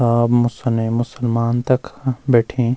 सब मुसले मुसलमान तखा बैठीं।